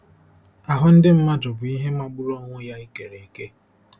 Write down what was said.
Ahụ́ ndị mmadụ bụ ihe magburu onwe ya e kere eke!